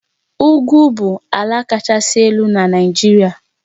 Ugwu bụ ala kachasị elu n'ụwa.